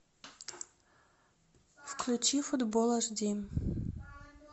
включи футбол аш ди